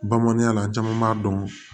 Bamananya la an caman b'a dɔn